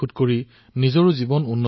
তেওঁ অতি উন্নতমানৰ আলু উৎপাদন কৰে